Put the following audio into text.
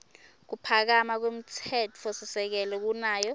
kuphakama kwemtsetfosisekelo kunayo